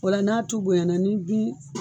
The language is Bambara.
O la n'a tu bonyana n'i bi